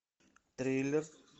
триллер